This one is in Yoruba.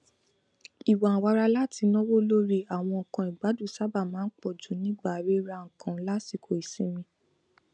ìwànwara láti náwó lórí àwọn nnkan ìgbádùn sábà máa n pọjù nígbà rírannkan lásìkò ìsinmi